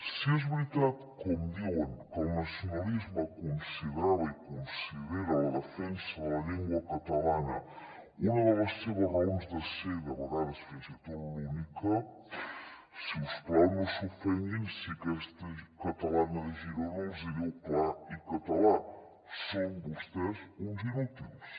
si és veritat com diuen que el nacionalisme considerava i considera la defensa de la llengua catalana una de les seves raons de ser de vegades fins i tot l’única si us plau no s’ofenguin si aquesta catalana de girona els hi diu clar i català són vostès uns inútils